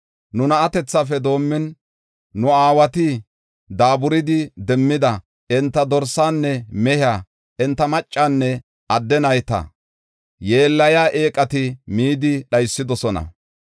Nu na7atethafe doomin, nu aawati daaburidi demmida, enta dorsaanne mehiya, enta maccanne adde nayta yeellayiya eeqati midi dhaysidosona.